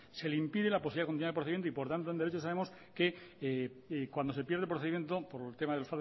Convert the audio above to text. se le impide la posibilidad de continuar el procedimiento y por tanto en derecho sabemos que cuando se pierde el procedimiento por el tema de